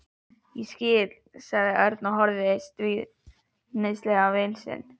Ég skil sagði Örn og horfði stríðnislega á vin sinn.